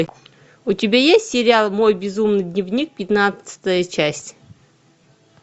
у тебя есть сериал мой безумный дневник пятнадцатая часть